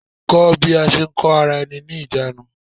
Kó bí a ṣe ń kó ara-ẹni-níjàánu.